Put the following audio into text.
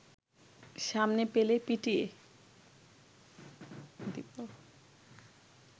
সামনে পেলে পিটিয়ে